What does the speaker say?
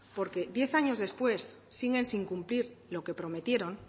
porque diez años después siguen sin cumplir lo que prometieron